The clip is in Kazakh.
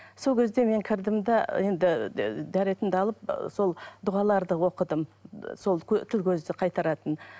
сол кезде мен кірдім де енді дәретімді алып ы сол дұғаларды оқыдым сол тіл көзді қайтаратын